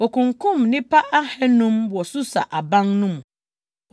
Wokunkum nnipa ahannum wɔ Susa aban no mu.